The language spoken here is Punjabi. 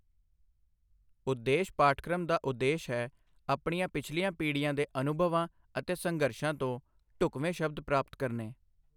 ਉਦੇਸ਼ ਪਾਠਕ੍ਰਮ ਦਾ ਉਦੇਸ਼ ਹੈ ਆਪਣੀਆਂ ਪਿਛਲੀਆਂ ਪੀੜ੍ਹੀਆਂ ਦੇ ਅਨੁਭਵਾਂ ਅਤੇ ਸੰਘਰਸ਼ਾਂ ਤੋਂ ਢੁਕਵੇਂ ਸ਼ਬਦ ਪ੍ਰਾਪਤ ਕਰਨੇ।